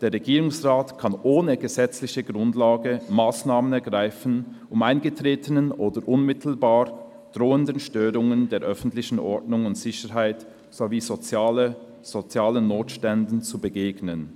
«Der Regierungsrat kann ohne gesetzliche Grundlage Massnahmen ergreifen, um eingetretenen oder unmittelbar drohenden Störungen der öffentlichen Ordnung und Sicherheit sowie sozialen Notständen zu begegnen.